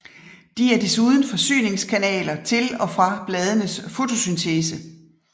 De er desuden forsyningskanaler til og fra bladenes fotosyntese